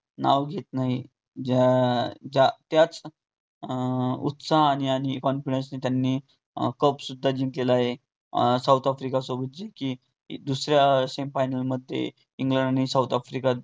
ज्या त्याच अं उत्साहाने आणि confidence ने त्यांनी cup सुद्धा जिंकलेला आहे. साऊथ आफ़्रिका सोबतची जी की दुसऱ्या semi final मध्ये इंग्लंड आणि साऊथ आफ्रिका लढ त झाली व त्यात इंग्लंडला knock out